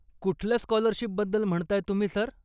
कुठल्या स्कॉलरशिपबद्दल म्हणताय तुम्ही, सर.